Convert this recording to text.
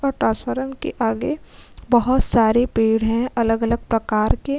और ट्रांसफरन के आगे बहुत सारे पेड़ है अलग-अलग प्रकार के।